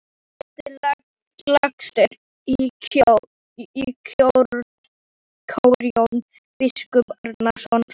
Ertu lagstur í kör Jón biskup Arason?